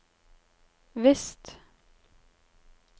visst